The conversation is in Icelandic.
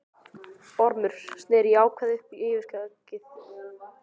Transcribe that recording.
Ormur sneri í ákefð upp á yfirskeggið.